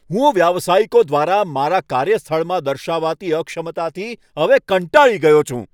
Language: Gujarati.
હું વ્યાવસાયિકો દ્વારા મારા કાર્યસ્થળમાં દર્શાવાતી અક્ષમતાથી હવે કંટાળી ગયો છું.